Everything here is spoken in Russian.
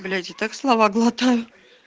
блять и так слова глотаю